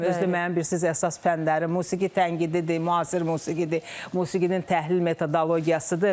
Özü də mənim bilirsiz əsas fənləri musiqi tənqididir, müasir musiqidir, musiqinin təhlil metodologiyasıdır.